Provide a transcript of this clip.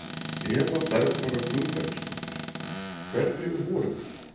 Eva Bergþóra Guðbergsdóttir: Hvernig voru þær?